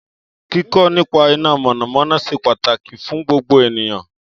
Kíkọ́ nípa iná mọ̀nàmọ́ná ṣe pàtàkì fún gbogbo ènìyàn